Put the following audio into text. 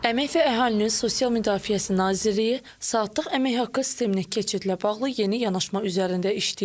Əmək və Əhalinin Sosial Müdafiəsi Nazirliyi saatlıq əmək haqqı sisteminə keçidlə bağlı yeni yanaşma üzərində işləyir.